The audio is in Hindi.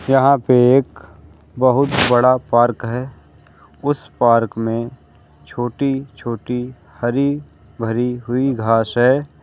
यहां पे एक बहोत बड़ा पार्क है उस पार्क में छोटी छोटी हरी भरी हुई घास है।